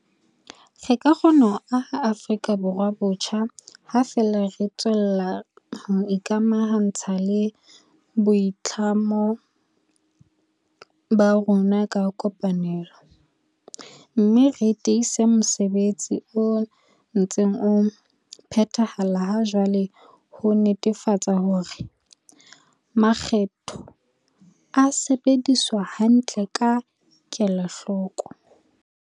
Re ka kgona ho aha Afrika Borwa botjha ha feela re tswella ho ikamaha ntsha le boitlamo ba rona ka kopanelo, mme re tiisa mosebetsi o ntseng o phethahala ha jwale ho netefatsa hore makgetho a sebediswa hantle ka kela hloko.